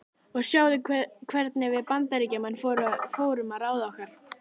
Og sjáðu hvernig við Bandaríkjamenn fórum að ráði okkar.